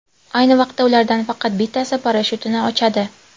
Ayni vaqtda, ulardan faqat bittasi parashyutini ochadi.